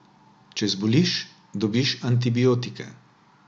Če zboliš, dobiš antibiotike.